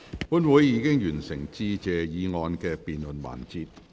本會已完成"致謝議案"的辯論環節。